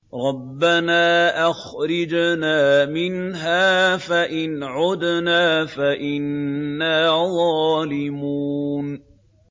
رَبَّنَا أَخْرِجْنَا مِنْهَا فَإِنْ عُدْنَا فَإِنَّا ظَالِمُونَ